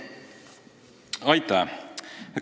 Aitäh!